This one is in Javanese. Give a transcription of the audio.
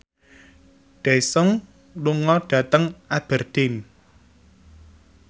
Daesung lunga dhateng Aberdeen